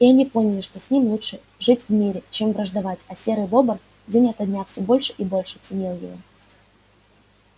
и они поняли что с ним лучше жить в мире чем враждовать а серый бобр день ото дня всё больше и больше ценил его